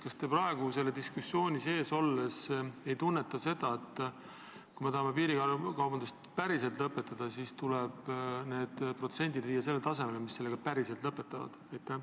Kas te praegu seda diskussiooni pidades ei tunneta, et kui me tahame piirikaubandust päriselt lõpetada, siis tuleb need protsendid viia sellele tasemele, mis selle ka päriselt lõpetavad?